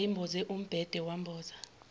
eyayimboze umbhede wamboza